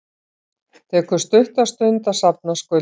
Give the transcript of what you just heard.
Tekur stutta stund að safna skuldum